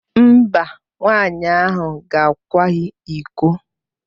Mba, nwaanyị ahụ gakwaghị iko.